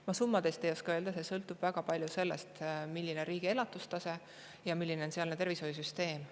Ma summade kohta ei oska öelda, see sõltub väga palju sellest, milline on riigi elatustase ja milline on sealne tervishoiusüsteem.